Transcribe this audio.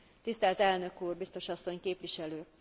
Tisztelt elnök úr, biztos asszony, képviselők!